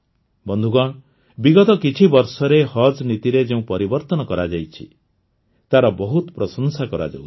ବନ୍ଧୁଗଣ ବିଗତ କିଛି ବର୍ଷରେ ହଜ ନୀତିରେ ଯେଉଁ ପରିବର୍ତ୍ତନ କରାଯାଇଛି ତାର ବହୁତ ପ୍ରଶଂସା କରାଯାଉଛି